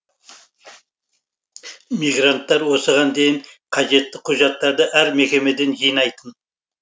мигранттар осыған дейін қажетті құжаттарды әр мекемеден жинайтын